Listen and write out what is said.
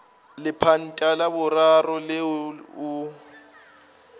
lepanta la boraro leo o